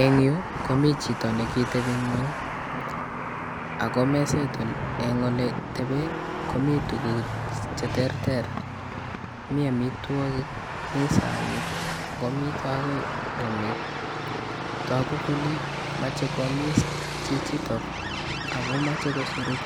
Eng' yu komii chito nekitepi ng'eny ako meset ole tepe komii tuguk cheterter: mi amitwogik, mi saanit, akomii akoy kumik togu kole mache koamis chichitok akomache kosuruk